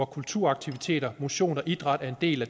kulturaktiviteter motion og idræt er en del af